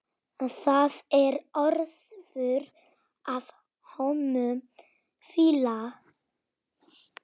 Það er óþefur af honum fýla!